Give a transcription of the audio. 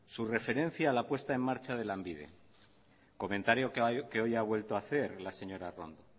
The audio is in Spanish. su referencia a la puesta en marcha de lanbide comentario que hoy ha vuelto a hacer la señora arrondo